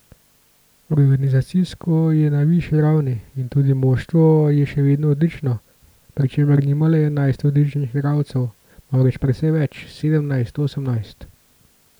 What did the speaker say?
Organizacijsko je na višji ravni in tudi moštvo je še vedno odlično, pri čemer nima le enajst odličnih igralcev, marveč precej več, sedemnajst, osemnajst.